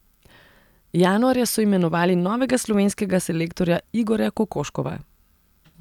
Januarja so imenovali novega slovenskega selektorja Igorja Kokoškova.